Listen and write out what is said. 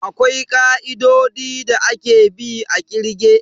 Akwai ka'idodi da ake bi a kirge.